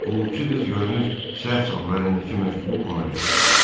Qulluqçu qız görünür səhv salıb əlindəki məktubu ona verdi.